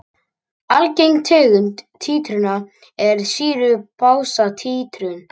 Algeng tegund títrunar er sýru-basa títrun.